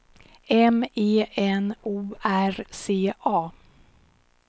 M E N O R C A